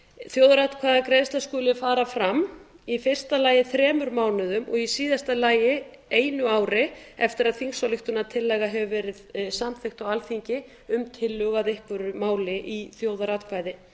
þjóðaratkvæðagreiðsla skuli fara fram í fyrsta lagi þremur mánuðum og í síðasta lagi einu ári eftir að þingsályktunartillaga hefur verið samþykkt á alþingi um tillögu að einhverju máli í þjóðaratkvæði